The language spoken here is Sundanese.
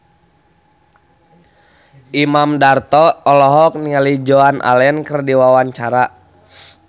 Imam Darto olohok ningali Joan Allen keur diwawancara